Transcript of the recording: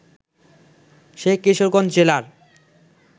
সে কিশোরগঞ্জ জেলার